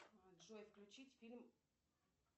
джой включить фильм